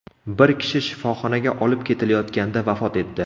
Bir kishi shifoxonaga olib ketilayotganda vafot etdi.